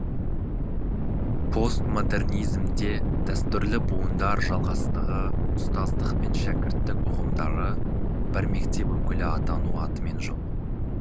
постмодернизмде дәстүрлі буындар жалғастығы ұстаздық пен шәкірттік ұғымдары бір мектеп өкілі атану атымен жоқ